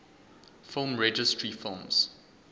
film registry films